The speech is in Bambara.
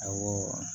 Awɔ